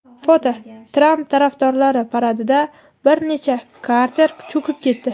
Foto: Tramp tarafdorlari paradida bir necha kater cho‘kib ketdi.